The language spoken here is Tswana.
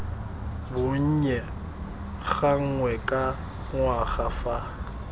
bonnye gangwe ka ngwaga fa